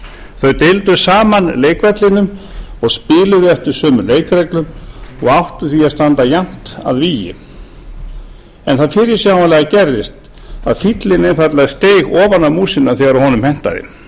þau deildu saman leikvellinum og spiluðu eftir sömu leikreglum og áttu því að standa jafnt að vígi en það fyrirsjáanlega gerðist að fíllinn einfaldlega steig ofan á músina þegar honum hentaði